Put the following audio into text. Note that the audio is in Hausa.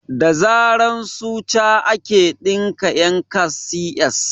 Da zaren suca ake ɗinke yankan CS